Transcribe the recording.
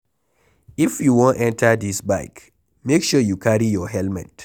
If you wan enter dis bike make sure you carry your helmet.